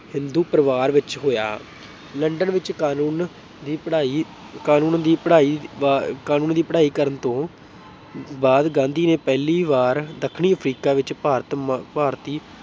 ਹਿੰਦੂ ਪਰਿਵਾਰ ਵਿੱਚ ਹੋਇਆ। ਲੰਡਨ ਵਿੱਚ ਕਾਨੂੰਨ ਦੀ ਪੜ੍ਹਾਈ ਕਾਨੂੰਨ ਦੀ ਪੜ੍ਹਾਈ ਬ ਅਹ ਕਾਨੂੰਨ ਦੀ ਪੜ੍ਹਾਈ ਕਰਨ ਤੋਂ ਬਾਅਦ ਗਾਂਧੀ ਨੇ ਪਹਿਲੀ ਵਾਰ ਦੱਖਣੀ ਅਫ਼ਰੀਕਾ ਵਿੱਚ ਭਾਰਤ ਅਹ ਭਾਰਤੀ